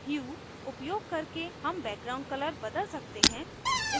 ह्यू hue उपयोग करके hue background color बदल सकते हैं